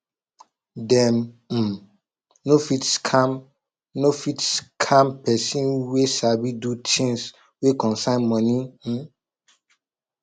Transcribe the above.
dem um no fit scam no fit scam pesin wey sabi do things wey concern moni um